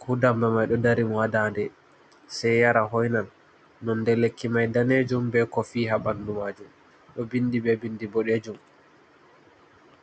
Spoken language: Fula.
ko damba mai do dari mo hadande sei yara hoinan nonde lekki mai danejum be kofii ha bandu majum do vindi be bindi bodejum.